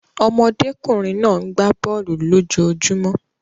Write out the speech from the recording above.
Ọmọdékùnrin náà gbá bọ̀ọ̀lu lójojúmó.